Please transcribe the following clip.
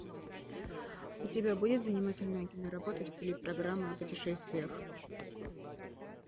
у тебя будет занимательная киноработа в стиле программы о путешествиях